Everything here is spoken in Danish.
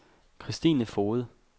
Kristine Foged